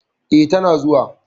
E tana zuwa.